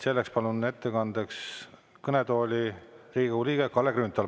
Palun ettekandeks kõnetooli Riigikogu liikme Kalle Grünthali.